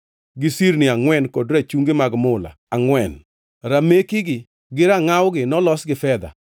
gi sirni angʼwen kod rachungi mag mula angʼwen. Ramekigi gi rangʼawgi nolos gi fedha.